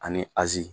Ani azi